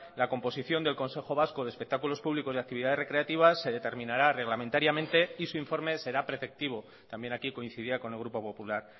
la composición del consejo vasco de espectáculos públicos y actividades recreativas se determinará reglamentariamente y su informe será preceptivo también aquí coincidía con el grupo popular